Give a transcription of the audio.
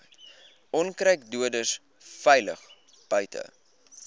onkruiddoders veilig buite